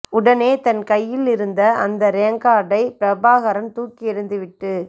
உடனே தன் கையில் இருந்த அந்த ராங்க கார்டைபிரபாகரன் தூக்கி எரிந்துவிட்டு